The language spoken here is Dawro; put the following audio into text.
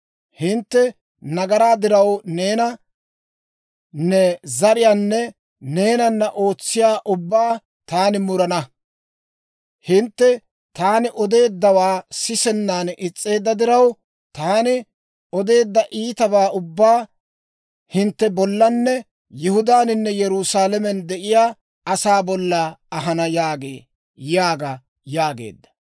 Hintte nagaraa diraw neena, ne zariyaanne neenana ootsiyaa ubbaa taani murana. Hintte taani odeeddawaa sisennan is's'eedda diraw, taani odeedda iitabaa ubbaa hintte bollanne Yihudaaninne Yerusaalamen de'iyaa asaa bolla ahana yaagee yaaga» yaageedda.